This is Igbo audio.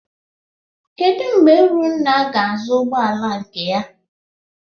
Kedụ mgbe Urunna ga-azụ ụgbọala nke ya?